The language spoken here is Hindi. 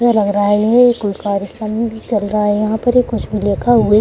ऐसा लग रहा है ये एक कुछ कार्यक्रम भी चल रहा है। यहां पर एक कुछ भी लिखा हुए --